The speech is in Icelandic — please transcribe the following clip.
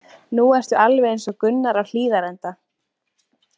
Nú ertu alveg eins og Gunnar á Hlíðarenda.